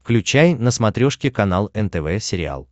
включай на смотрешке канал нтв сериал